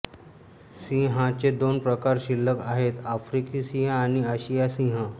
सिंहाचे दोन प्रकार शिल्लक आहेत आफ्रिकी सिंह आणि आशियाई सिंह